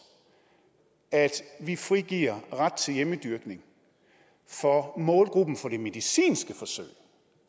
at vi frigiver ret til hjemmedyrkning for målgruppen for de medicinske forsøg